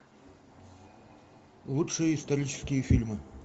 лучшие исторические фильмы